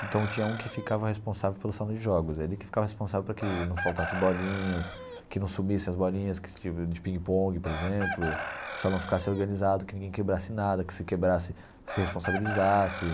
Então tinha um que ficava responsável pelo salão de jogos, ele que ficava responsável para que não faltasse bolinhas, que não sumissem as bolinhas de ping-pong, por exemplo, que o salão ficasse organizado, que ninguém quebrasse nada, que se quebrasse, se responsabilizasse.